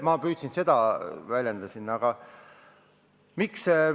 Ma püüdsin seda siin väljendada.